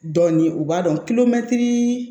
Dɔɔnin u b'a dɔn